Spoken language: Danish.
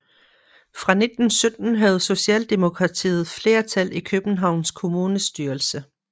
Fra 1917 havde Socialdemokratiet flertal i Københavns Kommunes styrelse